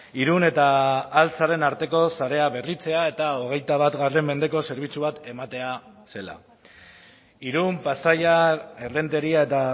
irun eta altzaren arteko sarea berritzea eta hogeita bat mendeko zerbitzu bat ematea zela irun pasaia errenteria eta